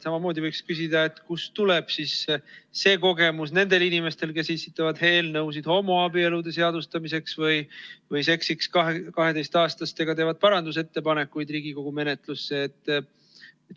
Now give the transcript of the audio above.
Samamoodi võiks küsida, et kust tuleb see kogemus nendel inimestel, kes esitavad eelnõusid homoabielude seadustamise kohta või teevad Riigikogu menetluses parandusettepanekuid 12-aastastega seksimise kohta.